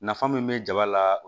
Nafa min be jaba la